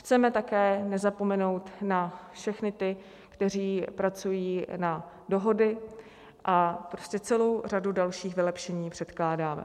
Chceme také nezapomenout na všechny ty, kteří pracují na dohody, a prostě celou řadu dalších vylepšení předkládáme.